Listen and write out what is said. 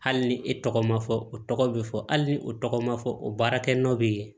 Hali ni e tɔgɔ ma fɔ o tɔgɔ be fɔ hali ni o tɔgɔ ma fɔ o baarakɛnɔ bɛ ye